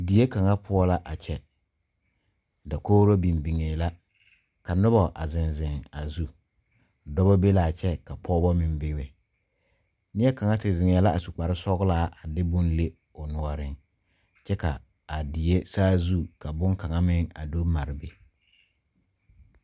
Die kaŋa poɔ la a kyɛ . Dakogro biŋ biŋee la. Ka noba a zeŋ zeŋ a zu. Dɔbɔ be laa kyɛ ka pɔgebɔ meŋ be be. Neɛkaŋa te zeŋɛɛ la a su kparre sɔglaa a de bone le o noɔreŋ, kyɛ ka a die saazu ka boŋkaŋa meŋ a do mare be.